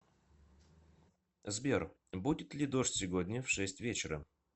сбер будет ли дождь сегодня в шесть вечера